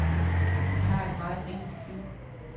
Vi har et meget enkelt liv.